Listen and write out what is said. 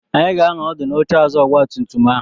Anyị ga-anọ ọdụ n'oche azụ ọgba tum tum ahụ.